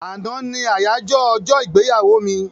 Àná ní àyájọ́ ọjọ́-ìgbéyàwó mi.